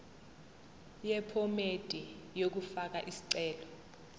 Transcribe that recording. yephomedi yokufaka isicelo